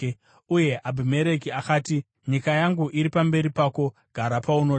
Uye Abhimereki akati, “Nyika yangu iri pamberi pako; gara paunoda.”